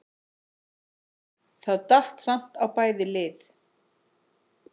Það datt samt á bæði lið.